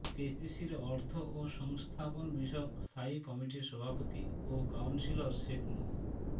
কেসিসির অর্থ ও সংস্থাপন বিষয়ক স্থায়ী কমিটির সভাপতি ও কাউন্সিলর শেখ মো